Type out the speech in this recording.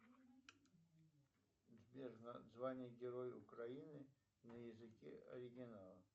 сбер звание героя украины на языке оригинала